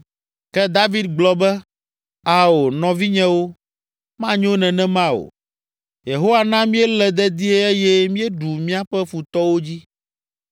Ke David gblɔ be, “Ao, nɔvinyewo, manyo nenema o! Yehowa na míele dedie eye míeɖu míaƒe futɔwo dzi.